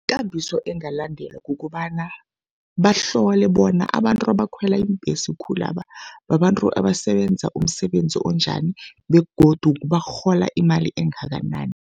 Ikambiso engalandelwa kukobana bahlole bona abantu abakhwela iimbhesi khulaba babantu abasebenza umsebenzi onjani begodu barhola imali engakanani.